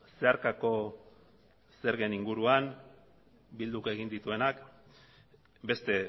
zeharkako zergen inguruan bilduk egin dituenak beste